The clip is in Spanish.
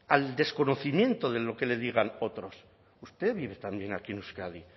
al desconocimiento de lo que le digan otros usted vive también aquí en euskadi